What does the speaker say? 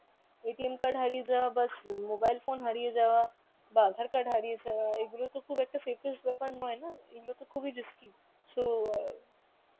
card হারিয়ে যাওয়া বা mobile phone হারিয়ে যাওয়া বা aadhar card হারিয়ে যাওয়া এগুলো তো খুব একটা safest ব্যাপার নয় না মূলত খুবই risky. so অ্যাঁ